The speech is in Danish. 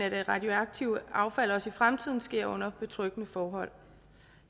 af det radioaktive affald også i fremtiden sker under betryggende forhold